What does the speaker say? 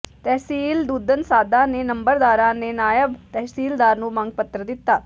ਤਹਿਸੀਲ ਦੁਧਨਸਾਧਾਂ ਦੇ ਨੰਬਰਦਾਰਾਂ ਨੇ ਨਾਇਬ ਤਹਿਸੀਲਦਾਰ ਨੂੰ ਮੰਗ ਪੱਤਰ ਦਿੱਤਾ